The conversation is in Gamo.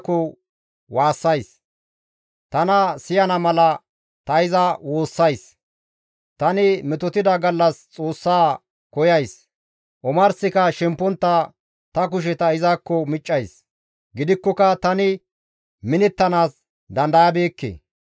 Tani metotida gallas Xoossa koyays; omarsika shempontta ta kusheta izakko miccays; gidikkoka tani minettanaas dandayabeekke.